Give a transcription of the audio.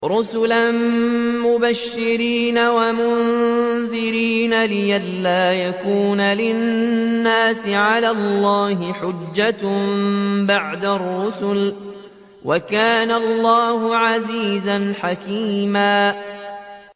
رُّسُلًا مُّبَشِّرِينَ وَمُنذِرِينَ لِئَلَّا يَكُونَ لِلنَّاسِ عَلَى اللَّهِ حُجَّةٌ بَعْدَ الرُّسُلِ ۚ وَكَانَ اللَّهُ عَزِيزًا حَكِيمًا